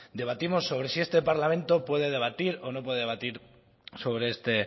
debatimos sobre si este parlamento puede debatir o no puede debatir sobre este